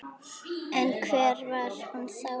En hver var hún þá?